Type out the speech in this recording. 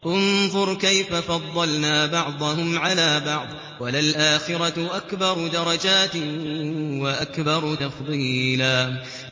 انظُرْ كَيْفَ فَضَّلْنَا بَعْضَهُمْ عَلَىٰ بَعْضٍ ۚ وَلَلْآخِرَةُ أَكْبَرُ دَرَجَاتٍ وَأَكْبَرُ تَفْضِيلًا